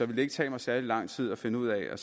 det ikke tage mig særlig lang tid at finde ud at